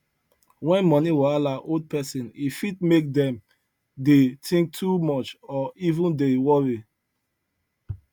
when money wahala hold person e fit make dem dey think too much or even dey worry